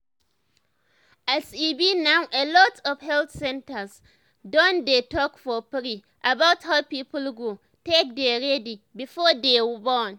as e b now alot of health centers don dey talk for free about how people go take dey ready before dey born